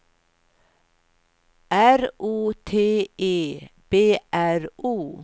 R O T E B R O